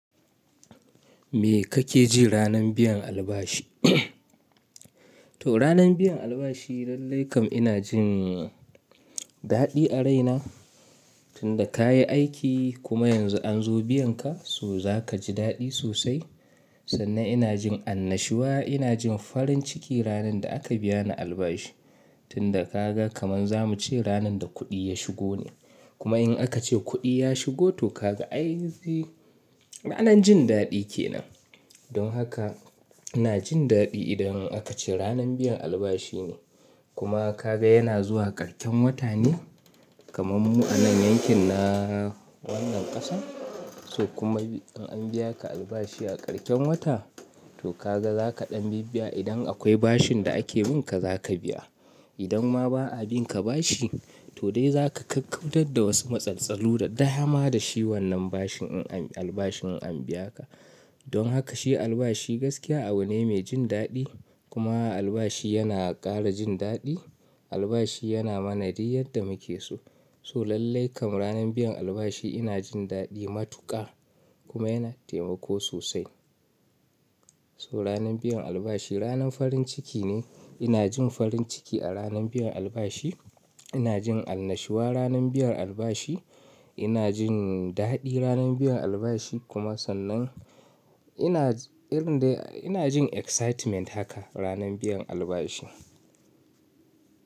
Me kake ji ranan biyan albashi? To ranan biyan albashi lallai kam ina jin daɗi a raina. Tunda ka yi aiki kuma yanzu an zo biyan ka, so za ka ji daɗi sosai. Sannan ina jin annashuwa, ina jin farin ciki ranan da aka biya ni albashi. Tunda ka ga kaman za mu ce ranan da kuɗi ya shigo ne. Kuma in aka ce kuɗi ya shigo to ka ga aizi ranan jin daɗi ke nan. Don haka ina jin daɗi idan aka ce ranan biyan albashi ne. Kuma ka ga yana zuwa karshen wata ne, kaman mu a nan yankin na wannan ƙasan. So kuma in an biya ka albashi a karshen wata, to ka ga za ka ɗan bibbiya idan akwai bashin da ake bin ka zaka biya. Idan ma ba a bin ka bashi to dai za ka ƙaƙƙautar da wasu matsaltsalu da dama da shi wannan bashin in an albashin an biya ka. Don haka shi albashi gaskiya abu ne mai jin daɗi kuma albashi yana ƙara jin daɗi. Albashi yana mana duk yadda muke so. So lallai kam ranan biyan albashi ina jin daɗi matuƙa kuma yana taimako sosai. So ranan biyan albashi ranan farin ciki ne. Ina jin farin ciki a ranan biyan albashi. Ina jin annashuwa ranan biyan albashi. Ina jin daɗi ranan biyan albashi kuma sannan ina irin dai ina jin excitement haka ranan biyan albashi.